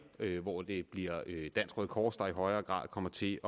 hvor det bliver dansk røde kors der i højere grad kommer til